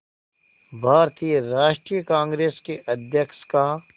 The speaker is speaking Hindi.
भारतीय राष्ट्रीय कांग्रेस के अध्यक्ष का